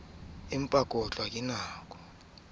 aneng a ka ba le